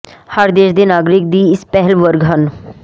ਹਰ ਦੇਸ਼ ਦੇ ਨਾਗਰਿਕ ਦੀ ਇਸ ਪਹਿਲ ਵਰਗ ਹਨ